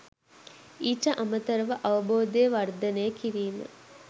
ඊට අමතරව අවබෝධය වර්ධනය කිරීම